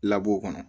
o kɔnɔ